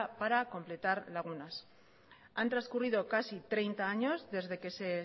para completar lagunas han transcurrido casi treinta años desde que se